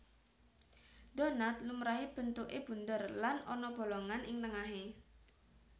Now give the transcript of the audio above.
Donat lumrahé bentuké bunder lan ana bolongan ing tengahé